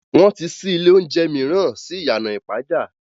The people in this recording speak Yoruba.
Wọ́n ti ṣí ilé oúnjẹ mìíràn sí ìyànà ìpàjà